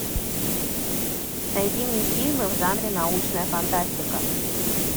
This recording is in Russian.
найди мне фильмы в жанре научная фантастика